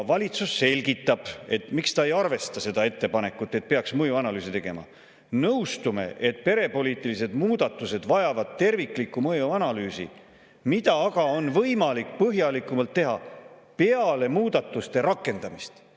Valitsus selgitab, miks ta ei arvesta seda ettepanekut, et peaks mõjuanalüüsi tegema: "Nõustume, et perepoliitilised muudatused vajavad terviklikku mõjuanalüüsi, mida aga on võimalik põhjalikumalt teha peale muudatuste rakendamist.